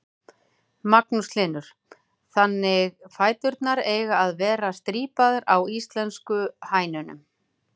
Magnús Hlynur: Þannig fæturnir eiga að vera strípaðar á íslensku hænunum?